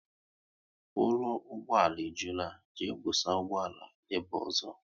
Ụlọ ụgbọala e jula, jee busa ụgbọala ebe ọzọ!